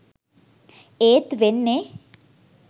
ඒත් වෙන්නේ